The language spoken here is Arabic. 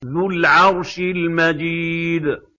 ذُو الْعَرْشِ الْمَجِيدُ